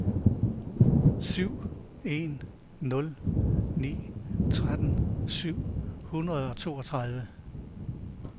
syv en nul ni tretten syv hundrede og toogtredive